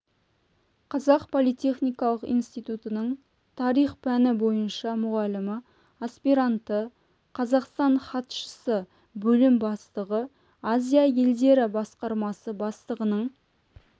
қазақ политехникалық институтының тарих пәні бойынша мұғалімі аспиранты қазақстан хатшысы бөлім бастығы азия елдері басқармасы бастығының